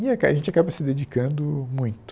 E aca a gente acaba se dedicando muito.